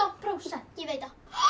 prósent ég veit það